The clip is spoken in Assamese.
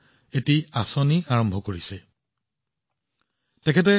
যেতিয়া আপুনি এই প্ৰকল্পটোৰ বিষয়ে জানিব আপুনি ভাবিব যে এইটো কি মহান কাম